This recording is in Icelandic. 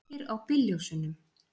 Kveikir á bílljósunum.